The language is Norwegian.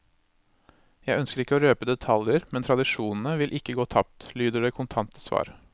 Jeg ønsker ikke å røpe detaljer, men tradisjonene vil ikke gå tapt, lyder det kontante svar.